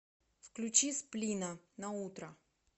включи сплина на утро